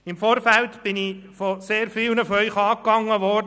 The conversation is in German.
Im Vorfeld bin ich von sehr vielen von Ihnen angegangen worden.